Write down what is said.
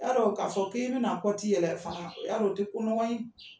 U t' a don ka son k'i bɛna kɔti tɛ yɛlɛ fanganan, o y'a don o tɛ ko nɔgɔ yen